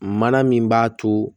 Mana min b'a to